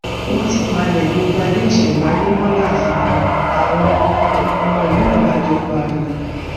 wọn ti palẹ gbogbo adé ìṣẹmáyé mọ láàfin àwọn ọmọ ìlú ìgbàjọ pariwo